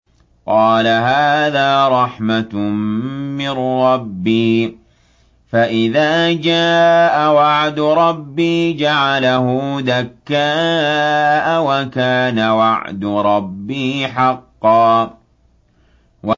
قَالَ هَٰذَا رَحْمَةٌ مِّن رَّبِّي ۖ فَإِذَا جَاءَ وَعْدُ رَبِّي جَعَلَهُ دَكَّاءَ ۖ وَكَانَ وَعْدُ رَبِّي حَقًّا